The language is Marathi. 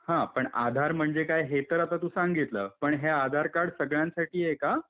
हां, पण आधार म्हणजे काय हे तर आता तू सांगितलं. पण हे आधार कार्ड सगळ्यांसाठी आहे का?